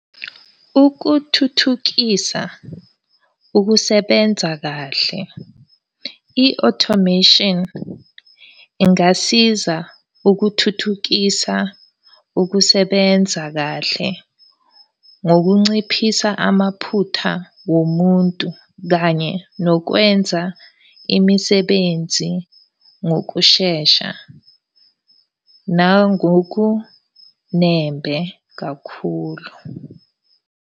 Ukuthuthukisa ukusebenza kahle. I-automation, ingasiza ukuthuthukisa ukusebenza kahle, ngokunciphisa amaphutha womuntu kanye nokwenza imisebenzi ngokushesha, nangokunembe kakhulu.